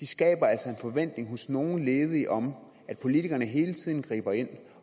skaber en forventning hos nogle ledige om at politikerne hele tiden griber ind